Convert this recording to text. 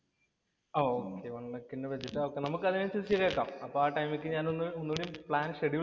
ഓ, one lakh ഇന്‍റെ budget നമുക്കതനുസരിച്ച് ശരിയാക്കാം. അപ്പോ ആ ടൈമിലേക്ക് ഞാൻ ഒന്ന് പ്ലാൻ ഷെഡ്യൂൾ